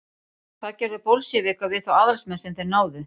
hvað gerðu bolsévikar við þá aðalsmenn sem þeir náðu